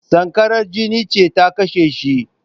Sankarar jini ce ta kashe shi